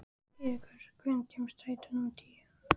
Eiríkur, hvenær kemur strætó númer tíu?